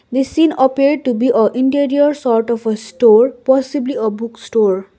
this scene appear to be a interior sort of a store possibly a book store.